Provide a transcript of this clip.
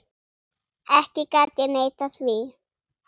Ekki gat ég neitað því.